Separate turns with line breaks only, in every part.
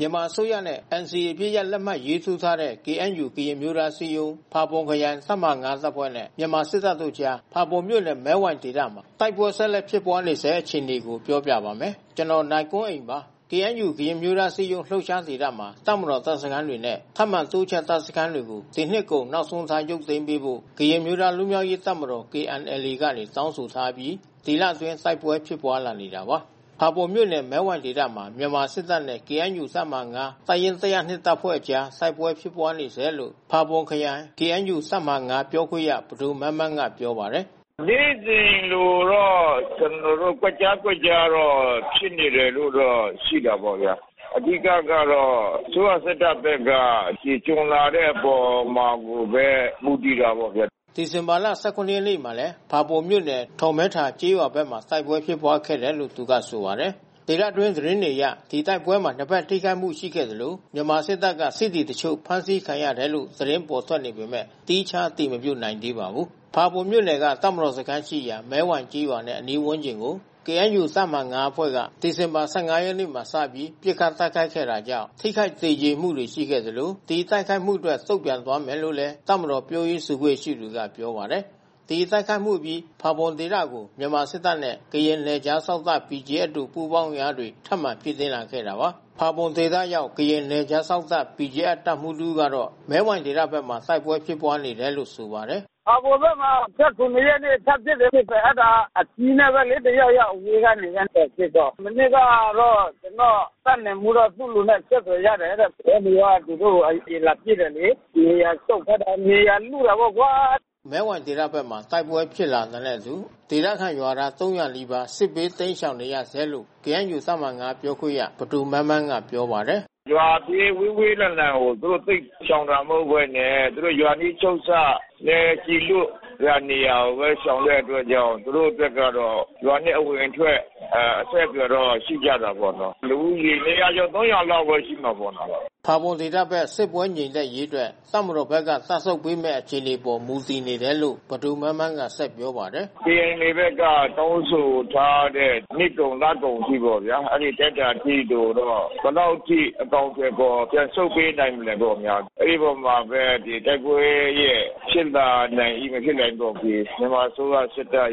မြန်မာအစိုးရနဲ့ NCA အပစ်ရပ် လက်မှတ်ရေးထိုးထားတဲ့ KNU ကရင်အမျိုးသားအစည်းအရုံး ဖာပွန်ခရိုင် တပ်မဟာ ၅ တပ်ဖွဲ့နဲ့ မြန်မာစစ်တပ်တို့အကြား ဖာပွန်မြို့နယ် မဲဝိုင်ဒေသမှာ တိုက်ပွဲ ဆက်လက်ဖြစ်ပွားနေပါတယ်။ အပြည့်အစုံကို နိုင်ကွန်းအိန် ဆက်သွယ်မေးမြန်းပြီး တင်ပြထားပါတယ်။ KNU ကရင်အမျိုးသားအစည်းအရုံး လှုပ်ရှားဒေသမှာ တပ်မတော် တပ်စခန်းတွေနဲ့ ထပ်မံတိုးချဲ့ တပ်စခန်းတွေကို ဒီနှစ်ကုန် နောက်ဆုံးထား ရုပ်သိမ်းပေးဖို့ ကရင်အမျိုးသား လွတ်မြောက်ရေးတပ်မတော် (KNLA) ကနေ တောင်းဆိုထားအပြီး ဒီလအတွင်း တိုက်ပွဲဖြစ်ပွားလာနေတာပါ။ ဖာပွန်မြို့နယ် မဲဝိုင်ဒေသမှာ မြန်မာစစ်တပ်နဲ့ KNU တပ်မဟာ ၅ တပ်ရင်း ၁၀၂ တပ်ဖွဲ့အကြား တိုက်ပွဲဖြစ်ပွားနေဆဲလို့ ဖာပွန်ခရိုင် KNU တပ်မဟာ ၅ ပြောခွင့်ရ ပဒိုမန်းမန်းက ပြောပါတယ်။
“နေ့စဉ်လိုလိုတော့ ကျနော်တို့ ကွက်ကြားကွက်ကြားတော့ ဖြစ်နေတယ်လို့တော့ ရှိတာပေါ့ဗျာ။ အဓိကကတော့ အစိုးရစစ်တပ်ဘက်က ဒီကျွံလာတဲ့အပေါ်မှာကိုပဲ မူတည်တာပေါ့ဗျာ။”
ဒီဇင်ဘာလ ၁၇ ရက်နေ့မှာလည်း ဖာပွန်မြို့နယ် ထော်မဲထာကျေးရွာဘက်မှာ တိုက်ပွဲဖြစ်ပွားခဲ့တယ်လို့ သူကဆိုပါတယ်။ ဒေသတွင်း သတင်းတွေအရ ဒီတိုက်ပွဲမှာ နှစ်ဖက်ထိခိုက်မှု ရှိခဲ့သလို မြန်မာစစ်တပ်က စစ်သည်တချို့ ဖမ်းဆီးခံရတယ်လို့ သတင်းပေါ်ထွက်နေပေမယ့် သီးခြား အတည်မပြုနိုင်သေးပါဘူး။ ဖာပွန်မြို့နယ်က တပ်မတော်စခန်းရှိရာ မဲဝိုင်ကျေးရွာနဲ့ အနီးဝန်းကျင်ကို KNU တပ်မဟာ ၅ အဖွဲ့က ဒီဇင်ဘာ ၁၅ ရက်နေ့မှာ စပြီး ပစ်ခတ်တိုက်ခိုက်ခဲ့တာကြောင့် ထိခိုက်သေကျေမှုတွေ ရှိခဲ့သလို ဒီတိုက်ခိုက်မှုအတွက် တုံ့ပြန်သွားမယ်လို့လည်း တပ်မတော် ပြောရေးဆိုခွင့်ရှိသူက ပြောပါတယ်။ ဒီတိုက်ခိုက်မှုအပြီး ဖာပွန်ဒေသဘက်ကို မြန်မာစစ်တပ်နဲ့ ကရင်နယ်ခြားစောင့်တပ် BGF တို့ ပူးပေါင်းအင်အားတွေ ထပ်မံ ဖြည့်တင်းလာခဲ့တာပါ။ ဖာပွန်ဒေသရောက် ကရင်နယ်ခြားစောင့်တပ် BGF တပ်မှူးတဦးကတော့ မဲဝိုင်ဒေသဘက်မှာ တိုက်ပွဲဖြစ်ပွားနေတယ်လို့ ဆိုပါတယ်။
“ဖာပွန်ဘက်မှာ ၁၇ ရက်နေ့ ထပ်ဖြစ်တယ်လို့၊ အဲဒါ အကြီး (လက်နက်ကြီး) နဲ့ပဲလေ တယောက်ယောက် အဝေးကနေ လှမ်းတွယ်ပစ်တော့။ မနေ့ကတော့ ကျနော့်တပ်နယ်မှူးက သူ့လူနဲ့ အဆက်အသွယ်ရတယ်တဲ့။ KNU က သူတို့ကို (တပ်မတော်) အရင်လာပစ်တယ်လေ။ နေရာဆုတ်ခိုင်းတာ မြေယာလုတာပေါ့ကွာ
။” မဲဝိုင်ဒေသဘက်မှာ တိုက်ပွဲဖြစ်ပွားလာနေတာနဲ့အတူ ဒေသခံရွာသား ၃၀၀ နီးပါး စစ်ဘေးတိမ်းရှောင်နေရဆဲလို့ KNU တပ်မဟာ ၅ ပြောခွင့်ရ ပဒိုမန်းမန်းက ပြောပါတယ်။
“ရွာနဲ့ ဝေးဝေးလံလံကို သူတို့ သိပ်ရှောင်တာမဟုတ်ဘဲနဲ့ သူတို့ရွာနီးချုပ်စပ်နဲ့ ကျည်လွတ်ရာနေရာကိုပဲ ရှောင်တဲ့အတွက်ကြောင့် သူတို့အတွက်ကတော့ ရွာနဲ့ အဝင်အထွက် အဆက်အသွယ်ကတော့ ရှိကြတာပေါ့နော်။ လူဦးရေ ၂၀၀ ကျော် ၃၀၀ နီးပါးလောက် ရှိမှာပေါ့နော်။”
ဖာပွန်ဒေသဘက် စစ်ပွဲငြိမ်သက်ရေးအတွက် တပ်မတော်ဘက်က တပ်ဆုတ်ပေးမယ့် အခြေအနေအပေါ် မူတည်တယ်လို့ ပဒိုမန်းမန်းက ဆက်ပြောပါတယ်။
“KNLA ဘက်က တောင်းဆိုထားတဲ့ နှစ်ကုန် လကုန်အထိပေါ့ဗျာ အဲဒီလက်ကျန်အထိကိုတော့ ဘယ်လောက်အထိ အကောင်အထည်ဖော် ပြန်ဆုတ်ပေးနိုင်မလဲပေါ့ဗျာ။ အဲဒီအပေါ်မှာပဲ တိုက်ပွဲရဲ့ ဖြစ်လာနိုင်၏ မဖြစ်နိုင်သည်အပေါ် ဒီ မြန်မာအစိုးရ စစ်တပ်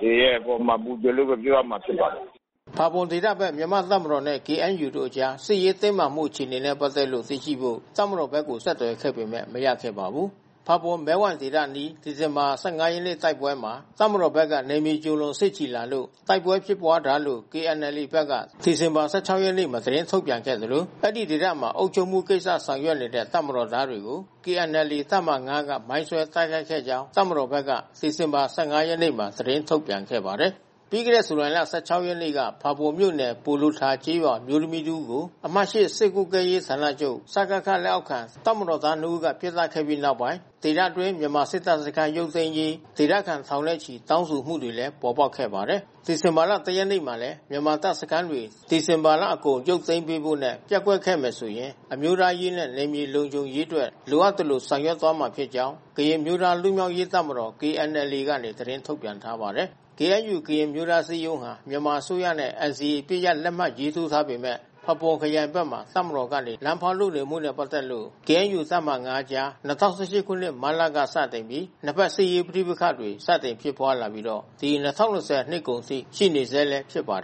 တွေရဲ့အပေါ်မှာ မူတည်တယ်လို့ပဲ ပြောရမှာဖြစ်ပါတယ်။”
ဖာပွန်ဒေသဘက် မြန်မာတပ်မတော်နဲ့ KNU တို့အကြား စစ်ရေးတင်းမာမှု အခြေအနေနဲ့ ပတ်သက်လို့ သိရှိဖို့ တပ်မတော်ဘက်ကို ဆက်သွယ်ခဲ့ပေမယ့် မရခဲ့ပါဘူး။ ဖာပွန် မဲဝိုင်ဒေသအနီး ဒီဇင်ဘာ ၁၅ ရက်နေ့တိုက်ပွဲမှာ တပ်မတော်ဘက်က နယ်မြေကျော်လွန် စစ်ချီလာလို့ တိုက်ပွဲဖြစ်ပွားတာလို့ KNLA ဘက်က ဒီဇင်ဘာလ ၁၆ ရက်နေ့မှာ သတင်းထုတ်ပြန်ခဲ့သလို အဲဒီဒေသမှာ အုပ်ချုပ်မှုကိစ္စ ဆောင်ရွက်နေတဲ့ တပ်မတော်သားတွေကို KNLA တပ်မဟာ ၅ က မိုင်းဆွဲတိုက်ခိုက်ခဲ့ကြောင်း တပ်မတော်ဘက်က ဒီဇင်ဘာလ ၁၅ ရက်နေ့မှာ သတင်းထုတ်ပြန်ခဲ့ပါတယ်။ ပြီးခဲ့တဲ့ ဇူလိုင်လ ၁၆ ရက်နေ့က ဖာပွန်မြို့နယ်၊ ပိုလိုထာကျေးရွာနေ အမျိုးသမီးတဦးကို အမှတ် ၈ စစ်ကွပ်ကဲရေးဌာနချုပ် (စကခ) လက်အောက်ခံ တပ်မတော်သားနှစ်ဦးက ပစ်သတ်ခဲ့ပြီးနောက်ပိုင်း ဒေသတွင်း မြန်မာစစ်တပ်စခန်း ရုပ်သိမ်းရေး ဒေသခံထောင်နဲ့ချီ တောင်းဆိုမှုတွေလည်း ပေါ်ပေါက်ခဲ့ပါတယ်။ ဒီဇင်ဘာ ၁ ရက်နေ့မှာလည်း မြန်မာစစ်တပ်စခန်းတွေ ဒီဇင်ဘာလအကုန် ရုပ်သိမ်းပေးဖို့နဲ့ ပျက်ကွက်ခဲ့မယ်ဆိုရင် အမျိုးသားရေးနဲ့ နယ်မြေလုံခြုံရေးအတွက် လိုအပ်သလို ဆောင်ရွက်မှာဖြစ်ကြောင်း ကရင်အမျိုးသား လွတ်မြောက်ရေးတပ်မတော် (KNLA) ကနေ သတင်းထုတ်ပြန်ထားပါတယ်။ KNU ကရင်အမျိုးသားအစည်းအရုံးဟာ မြန်မာအစိုးရနဲ့ NCA အပစ်ရပ် လက်မှတ်ရေးထိုးထားပေမယ့် ဖာပွန်ခရိုင်ဘက်မှာ တပ်မတော်ကနေ လမ်းဖောက်လုပ်နေမှုနဲ့ ပတ်သက်လို့ KNU တပ်မဟာ ၅ အကြား ၂၀၁၈ ခုနှစ် မတ်လကစတင်ပြီး နှစ်ဖက် စစ်ရေးပဋိပက္ခတွေ စတင်ဖြစ်ပွားခဲ့တာ ဒီ ၂၀၂၀ နှစ်ကုန်အထိ ရှိနေဆဲဖြစ်ပါတယ်